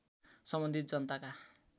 सम्बन्धित जनताका